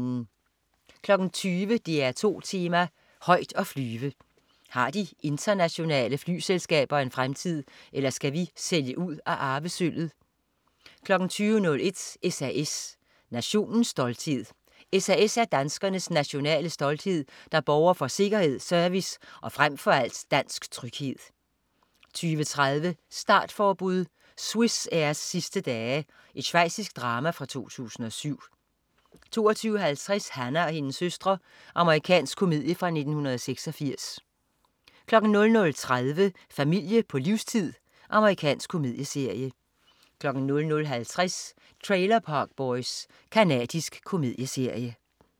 20.00 DR2 Tema: Højt at flyve. Har de nationale flyveselskaber en fremtid, eller skal vi sælge ud af arvesølvet? 20.01 SAS. Nationens stolthed. SAS er danskernes "nationale stolthed", der borger for sikkerhed, service og frem for alt dansk tryghed 20.30 Startforbud. Swissairs sidste dage. Schweizisk drama fra 2007 22.50 Hannah og hendes søstre. Amerikansk komedie fra 1986 00.30 Familie på livstid. Amerikansk komedieserie 00.50 Trailer Park Boys. Canadisk komedieserie